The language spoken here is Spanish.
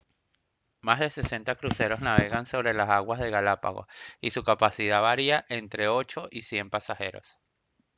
más de 60 cruceros navegan sobre las aguas de galápagos y su capacidad varía de entre 8 y 100 pasajeros